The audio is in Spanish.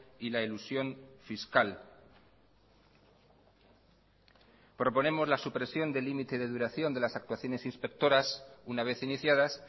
y la elusión fiscal proponemos la supresión del límite de duración de las actuaciones inspectoras una vez iniciadas